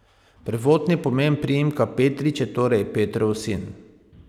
Prvotni pomen priimka Petrič je torej Petrov sin.